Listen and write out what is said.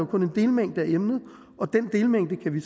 kun en delmængde af emnet og den delmængde kan vi